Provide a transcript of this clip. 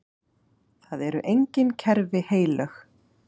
Það eru engin kerfi heilög.